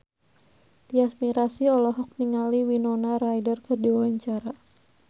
Tyas Mirasih olohok ningali Winona Ryder keur diwawancara